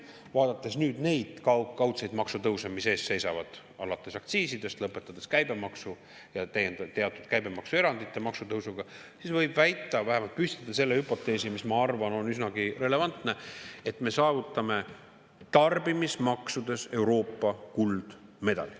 Vaadates neid kaudseid maksutõuse, mis ees seisavad, alates aktsiisidest, lõpetades käibemaksu ja teatud käibemaksuerandite maksutõusuga, võib väita, vähemalt püstitada hüpoteesi, mis, ma arvan, on üsnagi relevantne, et me saavutame tarbimismaksudes Euroopa kuldmedali.